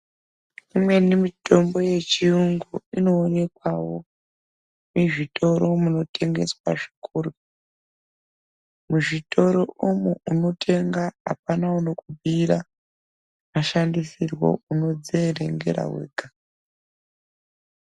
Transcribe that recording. Imweni mitombo yechiyungu inoonekwawo muzvitoro munotengeswa zvikuru. Muzvitoro umu unotenga apana unokubhiira mashandisirwo, unodzierengera wega.